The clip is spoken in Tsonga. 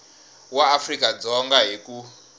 wa afrika dzonga hi ku